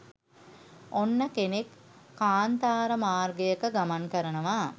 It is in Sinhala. ඔන්න කෙනෙක් කාන්තාර මාර්ගයක ගමන් කරනවා